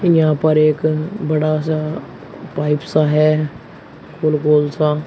यहां पर एक बड़ा सा पाइप सा है गोल गोल सा।